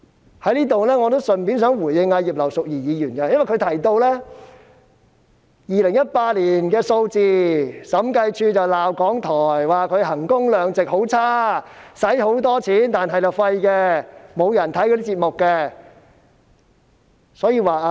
我想順道在此回應葉劉淑儀議員，她剛才提到2018年的數字，說當年審計署曾批評港台在衡工量值方面表現差勁，花了很多錢，卻沒有效果，節目沒有人收看。